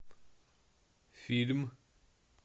фильм